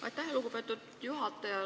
Aitäh, lugupeetud juhataja!